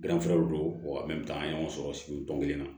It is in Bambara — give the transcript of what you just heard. don an ye ɲɔgɔn sɔrɔ sigi tɔn kelen na